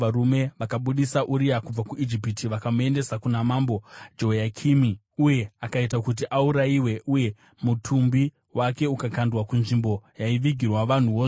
Vakabudisa Uria kubva kuIjipiti vakamuendesa kuna Mambo Jehoyakimi uyo akaita kuti aurayiwe uye mutumbi wake ukakandwa kunzvimbo yaivigirwa vanhuwo zvavo).